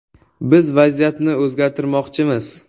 Biz vaziyatni o‘zgartirmoqchimiz.